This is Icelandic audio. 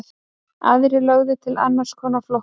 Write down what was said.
Aðrir lögðu til annars konar flokkun.